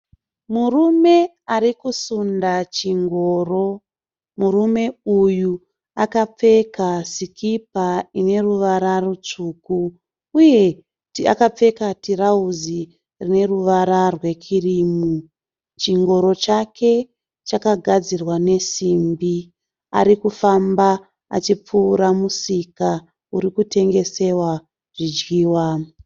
Murume ari kusunda chingoro. Murume uyu akapfeka sikipa ine ruvara rutsvuku uye akapfeka tirauzi rine ruvara rwekirimu. Chingoro chake chakagadzirwa nesimbi. Ari kufamba achipfuura musika uri kutengesewa zvidyiwa.